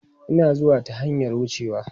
E, Ina zuwa ta hanyar wucewa.